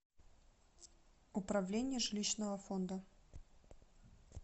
управление жилищного фонда